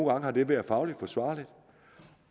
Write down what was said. har det været fagligt forsvarligt